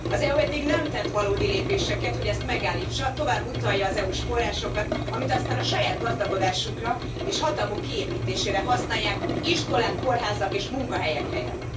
Az EU eddig nem tett valódi lépéseket, hogy ezt megállítsa. Tovább utalja az EU s forrásokat, amit aztán a saját gazdagodásukra, és hatalmuk kiépítésére használják, iskolák, kórházak és munkahelyek helyett.